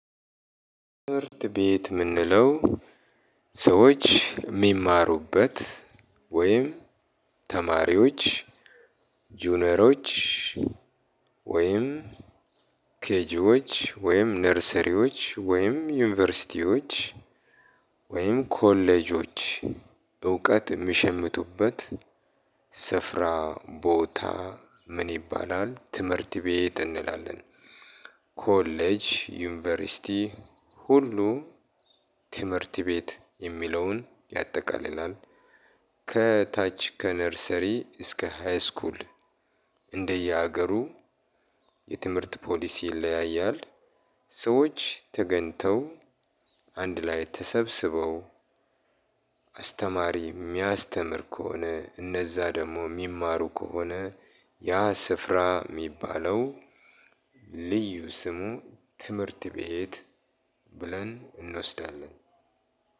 ትምህርት ቤት ምንለው ሰዎች ሚማሩበት ወይም ተማሪዎች ጁኒየሮች ወይም ኬጂዎች ወይም ነርሰሪዎች ወይም ዩኒቨርሲቲዎች ወይም ኮሌጆች እውቀት እሚሸምቱበት ስፍራ ቦታ ምን ይባላል ትምህርት ቤት እንላለን። ኮሌጅ ዩኒቨርሲቲ ሁሉ ትምህርት ቤት የሚለውን ያጠቃልላል። ከታች ከ ነርሰሪ እስከ ሃይ ስኩል እንደየ ሀገሩ የትምህርት ፓሊሲ ይለያያል። ሰዎች ተገኝተው አንድ ላይ ተሰብስበው አስተማሪ ሚያስተምር ከሆነ እነዛ ደግሞ ሚማሩ ከሆነ ያ ስፍራ ሚባለው ልዩ ስሙ ትምህርት ቤት ብለን እንወስዳለን።